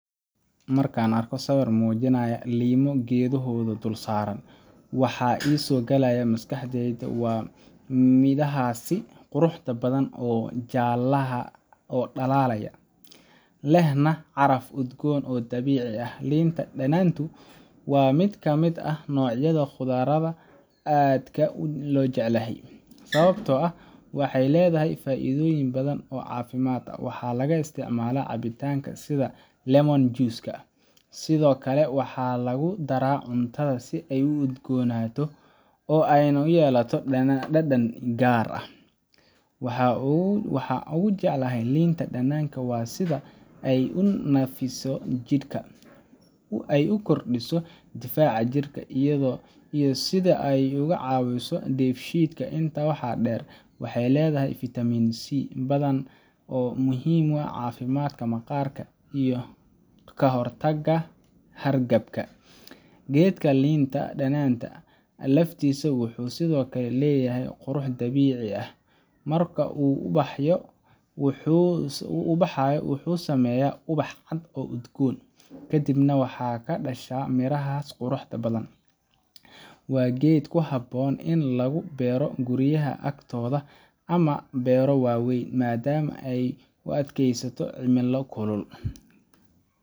Marka aan arko sawir muujinaya liimo geedkooda dul saaran, waxa i soo galaya maskaxda waa midhahaas quruxda badan ee jaallaha ah oo dhalaalaya, lehna caraf udgoon oo dabiici ah. Liinta dhanaantu waa mid ka mid ah noocyada khudradda aan aadka u jeclahay, sababtoo ah waxay leedahay faa’iidooyin badan oo caafimaad ah. Waxaa laga isticmaalaa cabitaanada sida lemon juice-ka, sidoo kale waxaa lagu daraa cuntada si ay udgoonaan oo ay u yeelato dhadhan gaar ah. Waxa aan ugu jeclahay liinta dhanaanta waa sida ay u nadiifiso jidhka, ay u kordhiso difaaca jirka, iyo sida ay uga caawiso dheefshiidka. Intaa waxaa dheer, waxay leedahay fitamiin C badan oo muhiim u ah caafimaadka maqaarka iyo kahortagga hargabka. Geedka liinta dhanaanta ah laftiisa wuxuu sidoo kale leeyahay qurux dabiici ah. Marka uu ubaxayo wuxuu sameeyaa ubax cad oo udgoon, kadibna waxaa ka dhasha mirahaas quruxda badan. Waa geed ku habboon in lagu beero guryaha agtooda ama beero waaweyn, maadaama uu u adkaysto cimilada kulul.